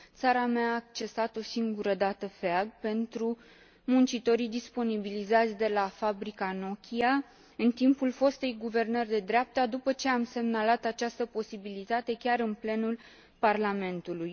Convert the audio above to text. Țara mea a accesat o singură dată FEAG pentru muncitorii disponibilizați de la fabrica Nokia, în timpul fostei guvernări de dreapta, după ce am semnalat această posibilitate chiar în plenul Parlamentului.